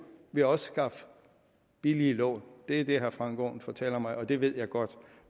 vi også skaffe billige lån det er det herre frank aaen fortæller mig og det ved jeg godt